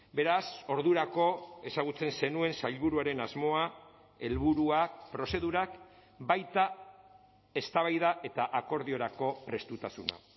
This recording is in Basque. beraz ordurako ezagutzen zenuen sailburuaren asmoa helburuak prozedurak baita eztabaida eta akordiorako prestutasuna